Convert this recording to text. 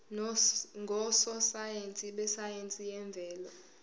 ngososayense besayense yemvelo